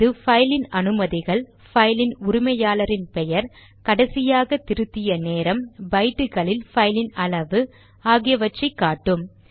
இது பைலின் அனுமதிகள் பைலின் உரிமையாளரின் பெயர் கடைசியாக திருத்திய நேரம் பைட்டுகளில் பைலின் அளவு ஆகியவற்றை காட்டும்